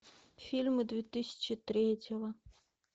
фильмы две тысячи третьего